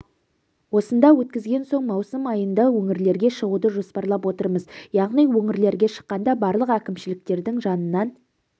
осында өткізген соң маусым айында өңірлерге шығуды жоспарлап отырмыз яғни өңірлерге шыққанда барлық әкімшіліктердің жанынан